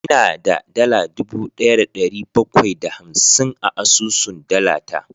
Ina da dala dubu daya da dari bakwai da hamsin a asusun dala ta